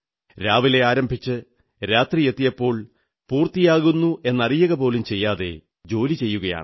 രാവിലെ ആരംഭിച്ച് രാത്രി എപ്പോൾ പൂർത്തിയാകുന്നെന്നറിയുക പോലും ചെയ്യാതെ ജോലി ചെയ്യുകയാണ്